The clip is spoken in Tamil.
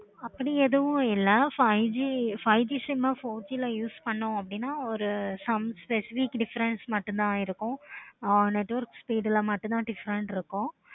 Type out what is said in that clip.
அப்படி எதுவும் இல்ல. five G sim ஆஹ் four G use பண்ணோம் அப்படின்னா ஒரு some specific difference மட்டும் தான் ஆஹ் network speed ல மட்டும் தான் difference இருக்கு.